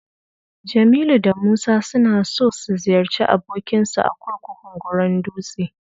Jamilu da Musa suna so su ziyarci abokinsu a kurkukun Goron dutse.